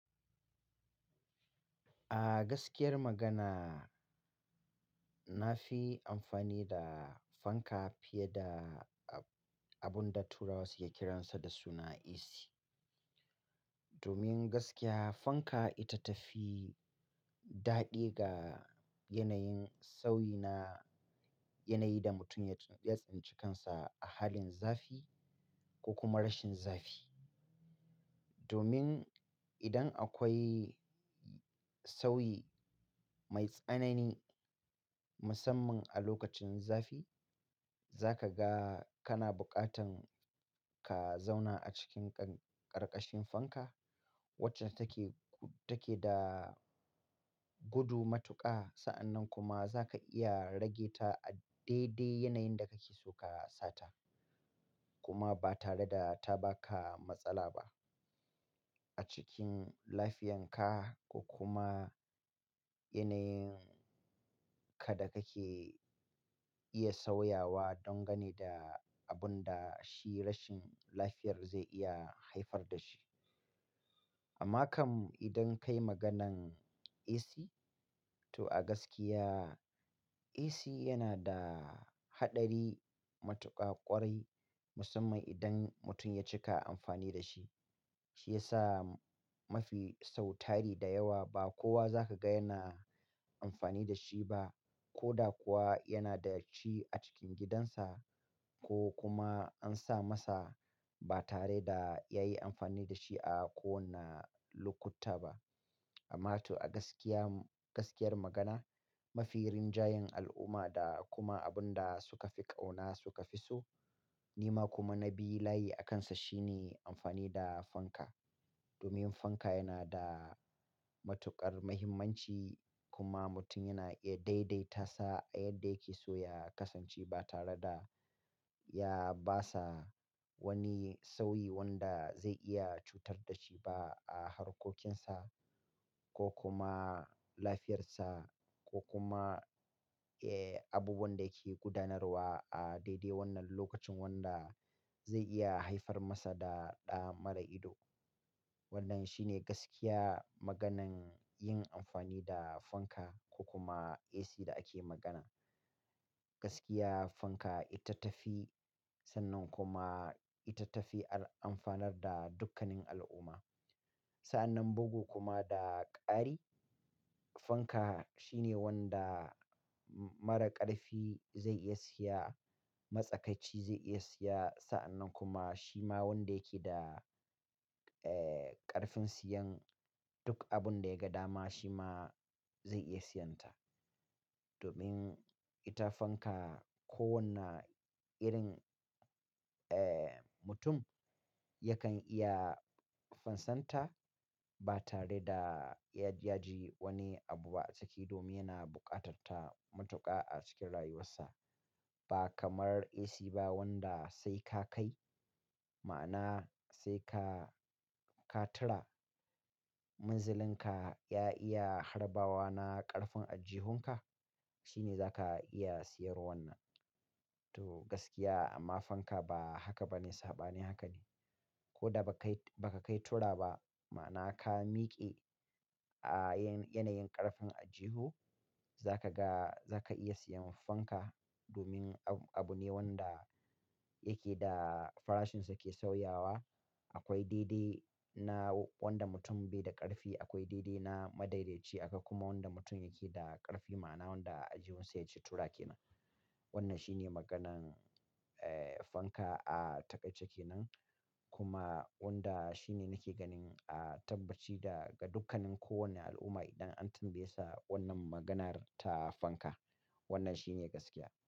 A gaskiyar magana, na fi amfani da fanka fiye da abun da Turawa suke kiransa da suna AC. Domin gaskiya fanka ita ta fi daɗi ga yanayin sauyi na, yanayi da mutum ya tunbi ya tsintikansa a halin zafi ko kuma rashin zafi. Domin idan akwai sauyi mai tsanani musamman a lokacin zafi, za ka ga kana buƙatan ka zauna a cikin ƙarƙashin fanka wacce take, take da gudu matuƙa. Sa'annan kuma za ka iya rage ta a daidai yanayin da kake so ka sata kuma ba tare da ta ba ka matsala ba a cikin lafiyanka ko kuma yanayin ka da kake iya sauyawa donganeda abun da shi rashin lafiyar zai iya haifar da shi. Amma kam idan kai maganan AC, to a gaskiya AC yana da haɗari matuƙa ƙwarai, musamman idan mutum ya cika amfani da shi. Shi ya sa mafi sau tari da yawa ba kowa za ka ga yana amfani da shi ba, ko da kuwa yana da shi a cikin gidansa ko kuma an sa masa ba tare da ya yi amfani da shi a kowane lokuta ba. Amma to a gaskiya, gaskiyar magana mafi rinjayen al'umma da kuma abun da suka fi ƙauna suka fi so, ni ma kuma na bi layi a kansa shine amfani da fanka. Domin fanka yana da matuƙar muhimmanci kuma mutum yana iya daidaita sa a yadda yake so ya kasance ba tare da ya basa wani sauyi wanda zai iya cutar da shi ba a harkokinsa ko kuma lafiyarsa ko kuma, eh, abubuwan da yake gudanarwa a daidai wannan lokacin wanda zai iya haifar masa da ɗa mara ido. Wannan shine gaskiya maganan yin amfani da fanka ko kuma AC da ake magana. Gaskiya fanka ita ta fi, sannan kuma ita ta fi amfanar da dukkanin al'umma. Sa'annan bugu kuma da ƙari, fanka shine wanda mara ƙarfi zai iya siya, matsakaci zai iya siya, sa'annan kuma shi ma wanda yake da, eh, ƙarfin siyan duk abun da ya ga dama shi ma zai iya siyanta. Domin ita fanka kowane irin, eh, mutum yakan iya fansanta ba tare da ya yaji wani abu ba a ciki domin yana buƙatar ta matuƙa a cikin rayuwarsa. Ba kamar AC ba wanda sai ka kai, ma'ana sai ka, ka tura munzalinka ya iya harbawa na ƙarfin ajihunka shine za ka iya siyar wannan. To gaskiya amma fanka ba haka ba ne, sabanin haka ne. Ko da ba kai, ba ka kai tura ba ma'ana ka miƙe a yanayin ƙarfin aljihu za ka ga, za ka iya siyan fanka domin abu ne wanda yake da farashinsa ke sauyawa. Akwai daidai na wanda mutum bai da ƙarfi, akwai daidai na madaidaici aka kuma wanda mutum yake da ƙarfi ma'ana wanda aljihunsa ya ci tura kenan. Wannan shine maganan, eh, fanka a takaice kenan. Kuma wanda shine nike ganin a tabbaci da ga dukkanin kowane al'umma idan an tambaye sa wannan maganar ta fanka. Wannan shine gaskiya.